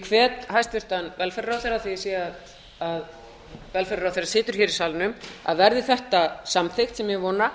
hvet hæstvirtur velferðarráðherra af því að ég sé að velferðarráðherra situr hér í salnum að verði þetta samþykkt sem ég vona